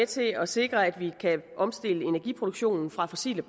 til at sikre at vi kan omstille energiproduktionen fra fossile